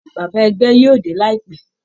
Bàbá ẹgbẹ́ yóò dé láìpẹ́